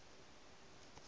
a sa swarwe a sa